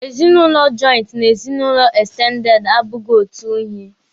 Ezinụlọ jọịntị na ezinụlọ ekstendede abụghị otu ihe.